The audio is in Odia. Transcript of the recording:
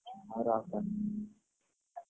ହଉ ରଖ।